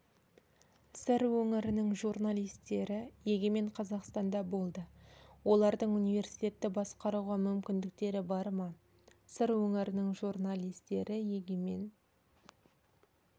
сыр өңірінің журналистері егемен қазақстанда болды олардың университетті басқаруға мүмкіндіктері бар ма сыр өңірінің журналистері егемен